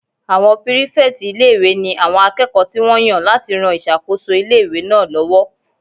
Àwọn pírífẹ̀tì ilé-ìwé ní àwọn akẹ́kọ̀ọ́ tí wọ́n yàn láti ran ìṣàkóso ilé-ìwé náà lọ́wọ́